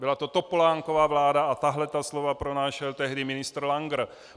Byla to Topolánkova vláda a tahle ta slova přinášel tehdy ministr Langer.